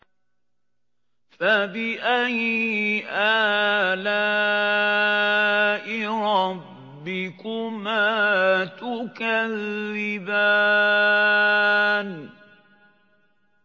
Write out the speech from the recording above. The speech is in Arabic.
فَبِأَيِّ آلَاءِ رَبِّكُمَا تُكَذِّبَانِ